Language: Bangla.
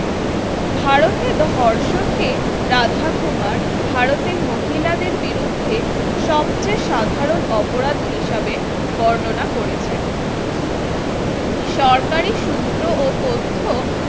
ভারতের ধর্ষণকে রাধাকুমার ভারতে মহিলাদের বিরুদ্ধে সবচেয়ে সাধারণ অপরাধ হিসেবে বর্ণনা করেছেন। সরকারি সূত্র এবং তথ্য